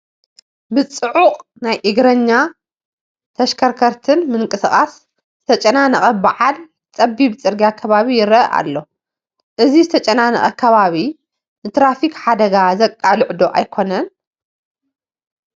ብፅዑቕ ናይ እግረኛን ተሽከርከርትን ምንቅስቓስ ዝተጨናነቐ በዓል ፀቢብ ፅርጊያ ከባቢ ይርአ ኣሎ፡፡ እዚ ዝተጨናነቐ ከባቢ ንትራፊክ ሓደጋ ዘቃልዕ ዶ ኣይኮነን?